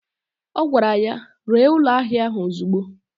O gwara ya, ree ụlọ ahịa ạhụ ozigbo!